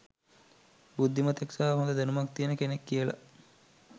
බුද්ධිමතෙක් සහ හොඳ දැනුමක් තියෙන කෙනෙක් කියල